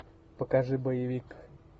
покажи боевик